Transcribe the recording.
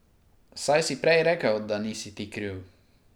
Saj si prej rekel, da nisi ti kriv.